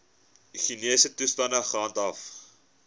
higiëniese toestande gehandhaaf